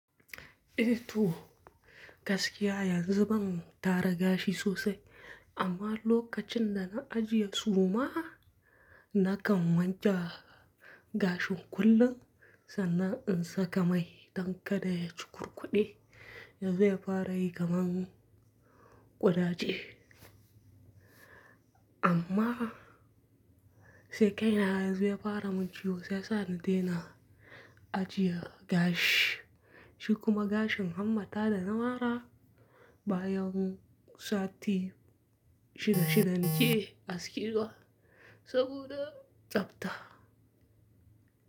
Eh to gaskiya yanzu ban tara gashi sosai, amma lokacin da na ajiye suma, na kan wanke gashin kullum sannan in saka mai dan kada ya cukurkuɗe da zai fara yi kamar ƙuraje. Amma, sai kai na yazo fara mun ciwo, shiyasa na daina ajiye gashi. Shi kuma gashin hammata da na mara bayan sati shida-shida ni ke askewa saboda tsafta.